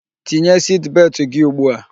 Tinye siti beltụ gị ugbu a!